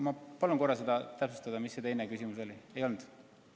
Ma palun korra täpsustada, mis see teine küsimus oli!